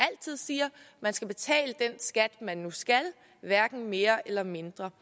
man skal betale den skat man nu skal betale hverken mere eller mindre